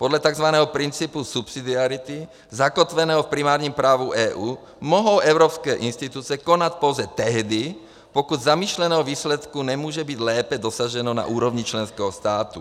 Podle tzv. principu subsidiarity zakotveného v primárním právu EU mohou evropské instituce konat pouze tehdy, pokud zamýšleného výsledku nemůže být lépe dosaženo na úrovni členského státu.